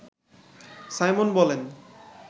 Simon বলেন